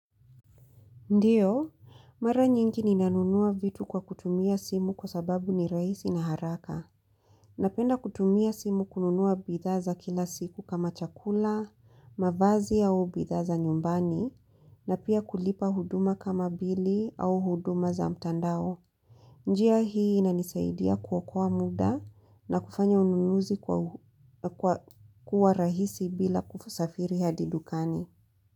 Ndiyo, mara nyingi ninanunua vitu kwa kutumia simu kwa sababu ni rahisi na haraka. Napenda kutumia simu kununua bidhaa za kila siku kama chakula, mavazi au bidhaa za nyumbani, na pia kulipa huduma kama bili au huduma za mtandao. Njia hii inanisaidia kuokoa muda na kufanya ununuzi kua rahisi bila kusafiri hadi dukani.